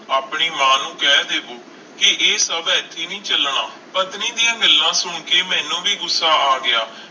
ਆਪਣੀ ਮਾਂ ਨੂੰ ਕਹਿ ਦਿਓ ਕਿ ਇਹ ਸਭ ਇੱਥੇ ਨਹੀਂ ਚੱਲਣਾ, ਪਤਨੀ ਦੀਆਂ ਗੱਲਾਂ ਸੁਣ ਕੇ ਮੈਨੂੰ ਵੀ ਗੁੱਸਾ ਆ ਗਿਆ।